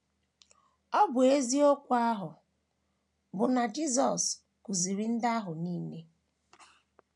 Ọ bụ eziokwu ahụ bụ́ na Jisọs kụziiri ndị ahụ ihe.